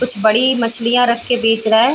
कुछ बड़ी मछलियाँ रख के बेच रहा है।